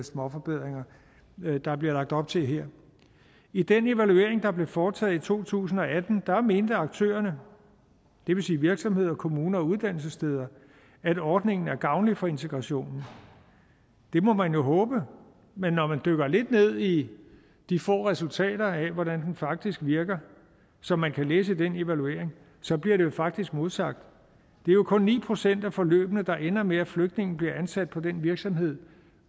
småforbedringer der bliver lagt op til her i den evaluering der blev foretaget i to tusind og atten mente aktørerne det vil sige virksomheder kommuner og uddannelsessteder at ordningen er gavnlig for integrationen det må man jo håbe men når man dykker lidt ned i de få resultater der er af hvordan den faktisk virker som man kan læse i den evaluering så bliver det jo faktisk modsagt det er jo kun ni procent af forløbene der ender med at flygtningen bliver ansat på den virksomhed